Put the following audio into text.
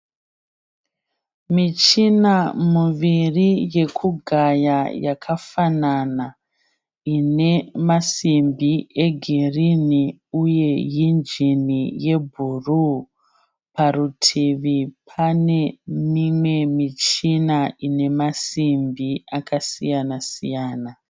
Michina muviri yekugaya yakafanana, ine masimbi egirini uye injini yebhuruu. Parutivi pane mimwe michina ine masimbi akasiyana-siyana.